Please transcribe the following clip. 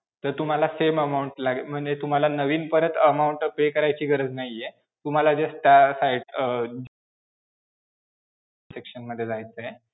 जर तुम्हाला same amount लागेल म्हणजे तुम्हाला नवीन परत amount pay करायची गरज नाही आहे, तुम्हाला जर अं section मध्ये जायचं आहे.